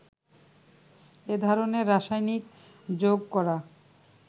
এ ধরনের রাসায়নিক যোগ করা